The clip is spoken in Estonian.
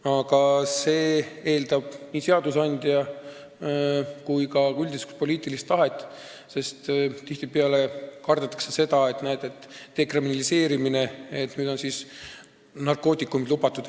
Aga see eeldab nii seadusandja tahet kui ka üldist poliitilist tahet, sest tihtipeale kardetakse dekriminaliseerimist, et nüüd on narkootikumid lubatud.